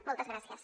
moltes gràcies